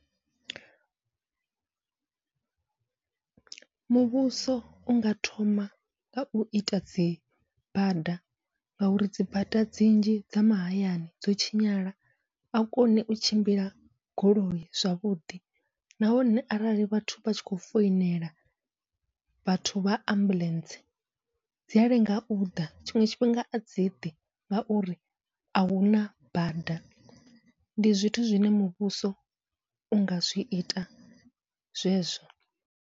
Muvhuso unga thoma ngau ita dzi bada, ngauri dzi bada dzi nnzhi dza mahayani dzo tshinyala ahu koni u tshimbila goloi zwavhuḓi, nahone arali vhathu vha tshi khou foinela vhathu vha ambuḽentse dzia lenga uḓa tshiṅwe tshifhinga adzi ḓi, ngauri ahuna bada ndi zwithu zwine muvhuso unga zwi ita zwezwo.